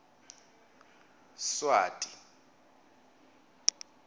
swati